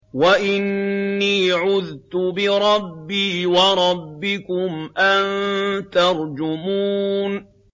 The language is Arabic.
وَإِنِّي عُذْتُ بِرَبِّي وَرَبِّكُمْ أَن تَرْجُمُونِ